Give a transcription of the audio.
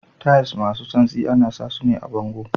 Tiles masu santsi ana sa sune a bango.